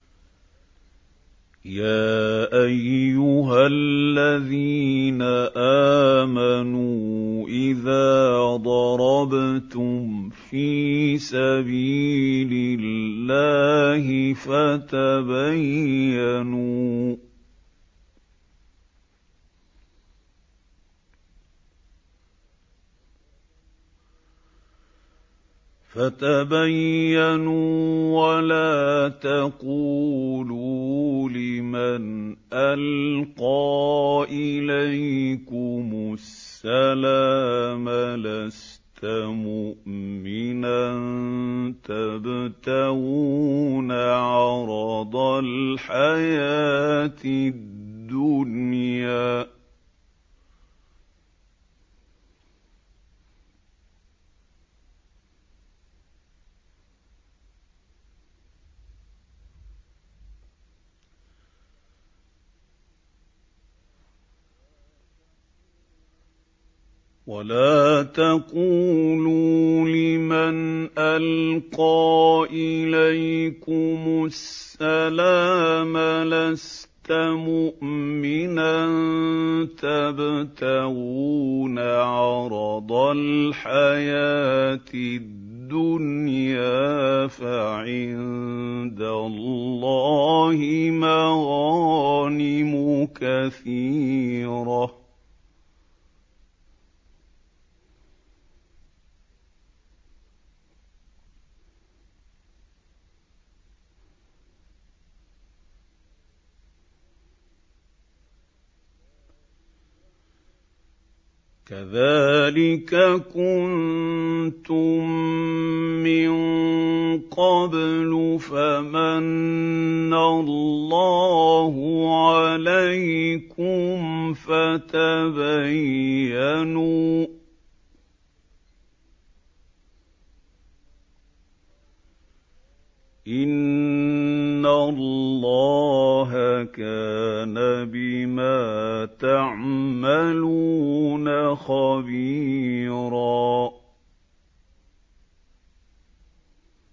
يَا أَيُّهَا الَّذِينَ آمَنُوا إِذَا ضَرَبْتُمْ فِي سَبِيلِ اللَّهِ فَتَبَيَّنُوا وَلَا تَقُولُوا لِمَنْ أَلْقَىٰ إِلَيْكُمُ السَّلَامَ لَسْتَ مُؤْمِنًا تَبْتَغُونَ عَرَضَ الْحَيَاةِ الدُّنْيَا فَعِندَ اللَّهِ مَغَانِمُ كَثِيرَةٌ ۚ كَذَٰلِكَ كُنتُم مِّن قَبْلُ فَمَنَّ اللَّهُ عَلَيْكُمْ فَتَبَيَّنُوا ۚ إِنَّ اللَّهَ كَانَ بِمَا تَعْمَلُونَ خَبِيرًا